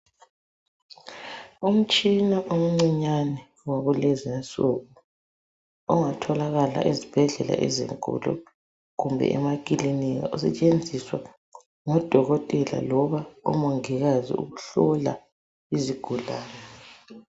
Umtshina omncinyane wakulezi insuku ongatholakala ezibhedlela ezinkulu kumbe emakiliniki. Usetshenziswa ngo dokotela loba omongikazi ukuhlola izigulane.